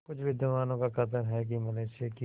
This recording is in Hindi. कुछ विद्वानों का कथन है कि मनुष्य की